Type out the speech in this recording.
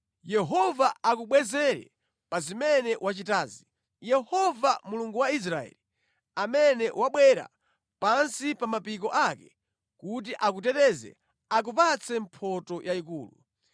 Yehova akubwezere pa zimene wachitazi. Yehova Mulungu wa Israeli, amene wabwera pansi pa mapiko ake kuti akuteteze, akupatse mphotho yayikulu.”